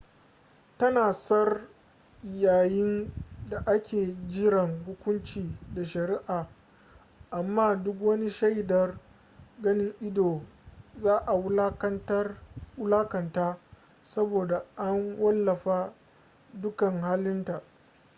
tana tsar yayin daake jiran hukunci da sharia amma duk wani shaidar ganin ido za a wulakanta saboda an wallafa dukan halin ta